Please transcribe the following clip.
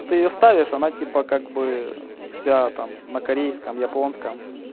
ну ты её ставишь она типа как бы вся там на корейском японском